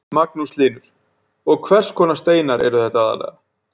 Magnús Hlynur: Og hvers konar steinar eru þetta aðallega?